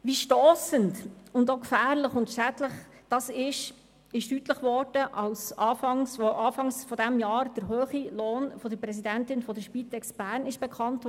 Wie stossend, auch gefährlich und schädlich das ist, hat sich deutlich gezeigt, als Anfang Jahr der hohe Lohn der Präsidentin der Spitex Bern bekannt wurde.